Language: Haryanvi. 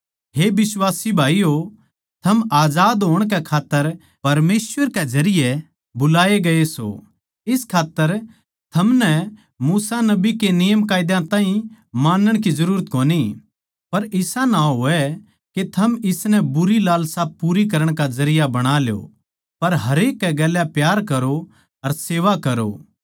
हे बिश्वासी भाईयो थम आजाद होण कै खात्तर परमेसवर के जरिये बुलाए गये सों इस खात्तर थमनै मूसा नबी के नियमकायदा ताहीं मानण की जरूरत कोनी पर इसा ना होवै के थम इसनै बुरी लालसा पूरी करण का जरिया बणा ल्यो पर हरेक कै गैल प्यार करो अर सेवा करो